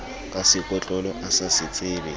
ka sekotlolo a sa sebetse